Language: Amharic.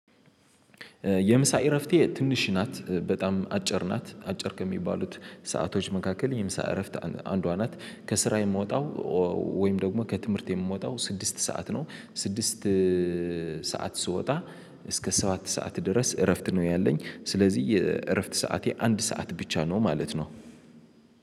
የምሳ እረፍቴ ትንሽ ናት በጣም አጭር ናት አጭር ከሚባሉት ሰአቶች መካከል የምሳ እረፍት አንዷ ናት። ከስራ የምወጣው ወይም ደግሞ ከትምህርት የምወጣው ስድስት ሰዓት ነው። ስድስት ሰዓት ስወጣ እስከ ሰዓት ሰዓት ድረስ እረፍት ነው ያለኝ። ስለዚህ እረፍት ሰዓቴ አንድ ሰዓት ብቻ ነው ማለት ነው።